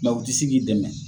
u ti si k'i dɛmɛ